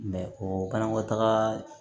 o banakɔtaaga